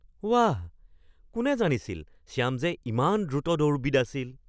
বাহ! কোনে জানিছিল শ্যাম যে ইমান দ্ৰুত দৌৰবিদ আছিল?